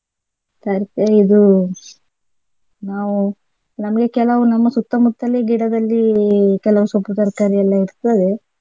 ಇದು ನಾವು ನಮ್ಗೆ ಕೆಲವು ನಮ್ಮ ಸುತ್ತಮುತ್ತಲೆ ಗಿಡದಲ್ಲಿ ಕೆಲವು ಸೊಪ್ಪು ತರ್ಕಾರಿ ಎಲ್ಲ ಇರ್ತದೆ.